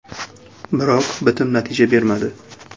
Biroq bitim natija bermadi.